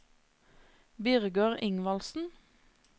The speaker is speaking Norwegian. Birger Ingvaldsen